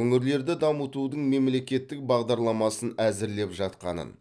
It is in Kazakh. өңірлерді дамытудың мемлекеттік бағдарламасын әзірлеп жатқанын